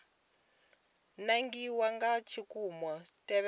nangiwa nga tshikimu u ṋetshedza